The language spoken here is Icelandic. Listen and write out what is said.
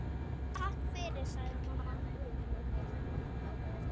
Takk fyrir, sagði mamma.